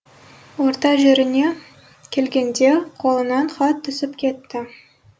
орта жеріне келгенде қолынан хат түсіп кетті